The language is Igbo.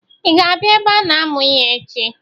I ga abịa ebe a na-amụ ihe echi?